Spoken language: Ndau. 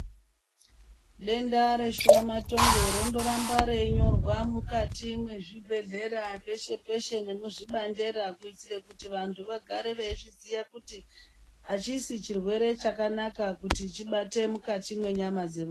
Denda reshuramatongo rondoramba reinyorwa mwukati mwezvibhedhlera peshe-peshe nemuzvibandera kuitire kuti vantu vagare veizviziya kuti hachisi chirwere chakanaka kuti chibate mukati mwenyama dzevantu.